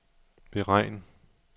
beregn